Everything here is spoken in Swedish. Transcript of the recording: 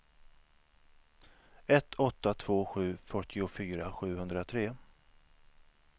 ett åtta två sju fyrtiofyra sjuhundratre